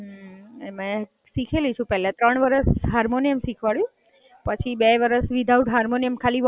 એમાં શીખેલી છું પેલા ત્રણ વર્ષ હાર્મોનિયમ શિખવાડ્યું, પછી બે વર્ષ વિધાઉટ હાર્મોનિયમ ખાલી વોકલ જ હોય.